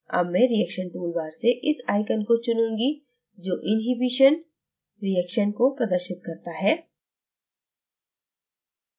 अब मैं reaction toolbar से इस icon को चुनूँगी जो inhibition reaction को प्रदर्शित करता है